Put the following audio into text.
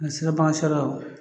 siraban ka sariya